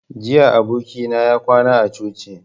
Jiya abokina ya kwana a coci